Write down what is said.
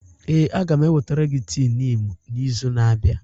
Ee, a ga m ewetara gị tii niimu n'izu na-abịa.